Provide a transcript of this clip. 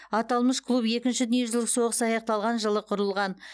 аталмыш клуб екінші дүниежүзілік соғыс аяқталған жылы құрылған